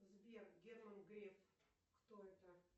сбер герман греф кто это